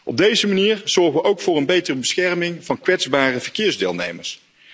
Op deze manier zorgen we ook voor een betere bescherming van kwetsbare verkeersdeelnemers.